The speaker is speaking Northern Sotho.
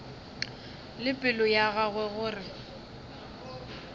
le pelo ya gagwe gore